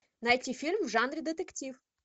найти фильм в жанре детектив